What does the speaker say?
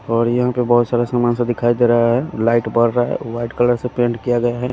और यहां पे बहुत सारे सामान सा दिखाई दे रहा है लाइट बर रहा है व्हाईट कलर से पेंट किया गया है।